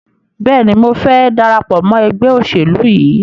Bẹ́ẹ̀ni, mo fẹ́ darapọ̀ mọ́ ẹgbẹ́ òṣèlú yìí.